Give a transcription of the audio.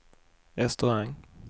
restaurang